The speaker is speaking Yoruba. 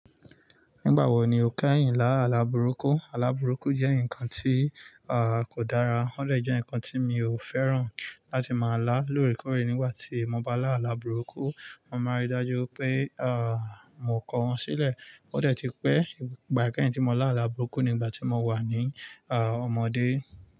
Nígbà wo ni o kẹ́yìn láàlá burúkú? Alà burúkú jẹ́ nǹkan tí, à, kò dára. Ó lè jẹ́ nǹkan tí mi ò fẹ́ràn láti máa lá. Lóre kọ̀re, nígbà tí mo bá lá àlá burúkú, mo máa rí i dájú pé, à, mo kọ wọ́n sílẹ̀. Ó dè ti pẹ́ ìgbà kẹ́yìn tí mo lá àlá burúkú nígbà tí mo wà ní, à, ọmọdé.